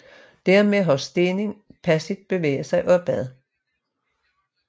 Dermed har stenen passivt bevæget sig opad